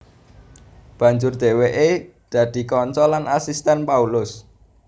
Banjur dhèwèké dadi kanca lan asistèn Paulus